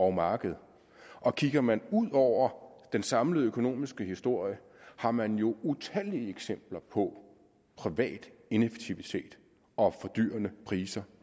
markedet og kigger man ud over den samlede økonomiske historie har man jo utallige eksempler på privat ineffektivitet og fordyrende priser